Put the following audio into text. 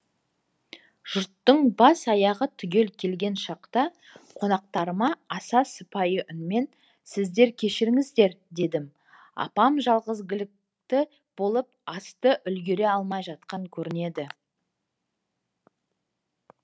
жұрттың бас аяғы түгел келген шақта қонақтарыма аса сыпайы үнмен сіздер кешіріңіздер дедім апам жалғызгілікті болып асты үлгере алмай жатқан көрінеді